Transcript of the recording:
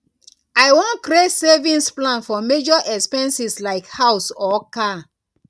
i wan create savings plan for major expenses like house or car